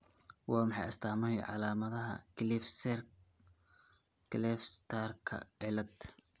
Waa maxay astamaha iyo calaamadaha Kleefstrkaa cilad?